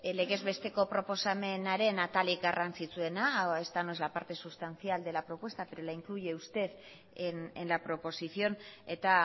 legez besteko proposamenaren atalik garrantzitsuena esta no es la parte sustancial de la propuesta pero la incluye usted en la proposición eta